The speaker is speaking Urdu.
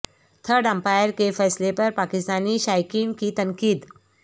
تھرڈ امپائر کے فیصلے پر پاکستانی شائقین کی تنقید